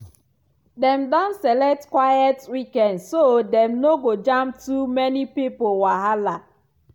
dem don select quiet weekend so dem no go jam too many pipo wahala.